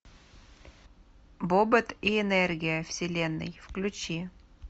бобот и энергия вселенной включи